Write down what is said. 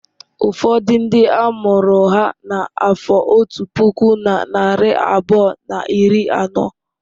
Ụfọdụ ndị a mụrụ ha n'afọ otu puku na narị abụọ na iri anọ.